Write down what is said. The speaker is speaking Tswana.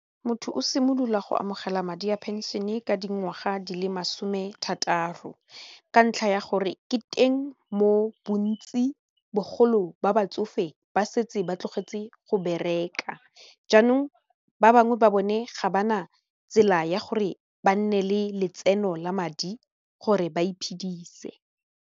Motho o simolola go amogela madi a pension e ka dingwaga di le masome thataro ka ntlha ya gore ke teng mo bontsi bogolo ba batsofe ba setse ba tlogetse go bereka jaanong ba bangwe ba bone ga ba na tsela ya gore ba nne le letseno la madi gore ba iphedise.